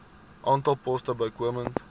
aantal poste bykomend